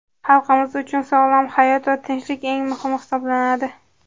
Xalqimiz uchun sog‘lom hayot va tinchlik eng muhimi hisoblanadi.